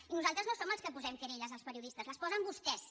i nosaltres no som els que posem querelles als periodistes les posen vostès